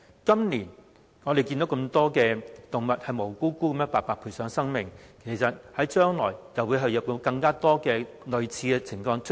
今年我們看到這麼多無辜動物白白賠上生命，將來會否有更多類似情況出現？